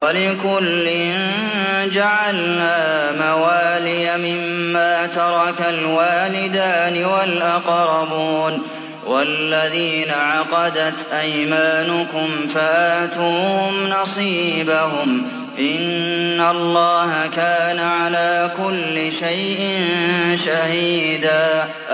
وَلِكُلٍّ جَعَلْنَا مَوَالِيَ مِمَّا تَرَكَ الْوَالِدَانِ وَالْأَقْرَبُونَ ۚ وَالَّذِينَ عَقَدَتْ أَيْمَانُكُمْ فَآتُوهُمْ نَصِيبَهُمْ ۚ إِنَّ اللَّهَ كَانَ عَلَىٰ كُلِّ شَيْءٍ شَهِيدًا